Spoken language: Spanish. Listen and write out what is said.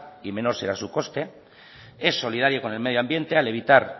y menor será su coste es solidario con el medio ambiente al evitar